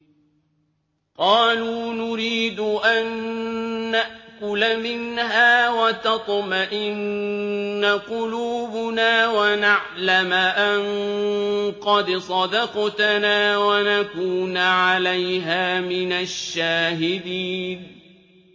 قَالُوا نُرِيدُ أَن نَّأْكُلَ مِنْهَا وَتَطْمَئِنَّ قُلُوبُنَا وَنَعْلَمَ أَن قَدْ صَدَقْتَنَا وَنَكُونَ عَلَيْهَا مِنَ الشَّاهِدِينَ